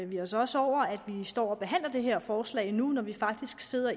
vi os os over at vi står og behandler det her forslag nu når vi faktisk sidder